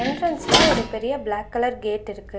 என்ட்ரன்ஸ்ல ஒரு பெரிய பிளேக் கலர் கேட் இருக்கு.